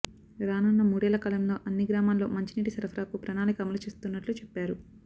రానున్న మూడేళ్ల కాలంలో అన్ని గ్రామాల్లో మంచినీటి సరఫరాకు ప్రణాళిక అమలు చేస్తున్నట్లు చెప్పారు